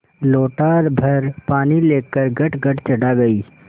लोटाभर पानी लेकर गटगट चढ़ा गई